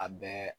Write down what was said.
A bɛɛ